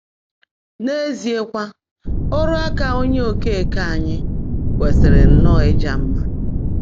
N’ézíekwá, ọ́rụ́ áká Ónyé Ókeèké ányị́ kwèsị́rị́ nnọ́ọ́ ị́já mmã̀.